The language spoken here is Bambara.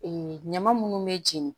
ɲama munnu bɛ jeni